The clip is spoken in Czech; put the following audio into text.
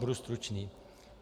Budu stručný.